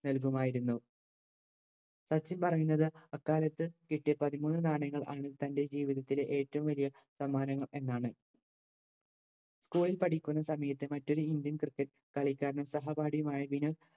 നൽകുമായിരുന്നു സച്ചിൻ പറയുന്നത് ആ കാലത്ത് കിട്ടിയ പതിമൂന്ന് നാണയങ്ങൾ ആണ് തൻറെ ജീവിതത്തിലെ ഏറ്റോം വലിയ സമ്മാനങ്ങൾ എന്നാണ് school ഇൽ പഠിക്കുന്ന സമയത്ത് മറ്റൊരു indian cricket കളിക്കനാരും സഹപാഠിയുമായ വിനു